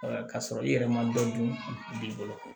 k'a sɔrɔ i yɛrɛ ma dɔ dun b'i bolo